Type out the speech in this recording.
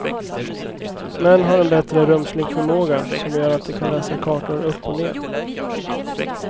Män har en bättre rumslig förmåga, som gör att de kan läsa kartor upp och ner.